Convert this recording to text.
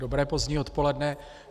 Dobré pozdní odpoledne.